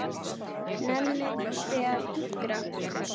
Nennið þið að hinkra?